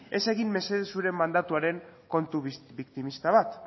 ez egin mesedez zure mandatuaren kontu biktimista bat